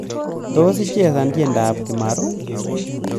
tos ichesan tyendob kimaru